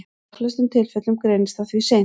Í langflestum tilfellum greinist það því seint.